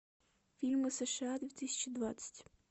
фильмы сша две тысячи двадцать